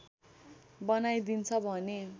बनाइदिन्छ भने